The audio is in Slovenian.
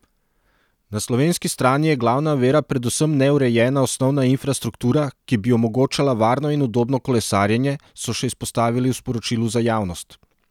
Na slovenski strani je glavna ovira predvsem neurejena osnovna infrastruktura, ki bi omogočala varno in udobno kolesarjenje, so še izpostavili v sporočilu za javnost.